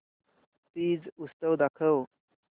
तीज उत्सव दाखव